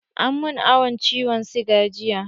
An min awan ciwon siga jiya.